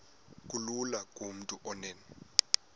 kulula kumntu onen